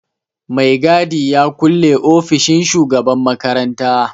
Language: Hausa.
Mai gadi ya kulle ofishin shugaban makaranta.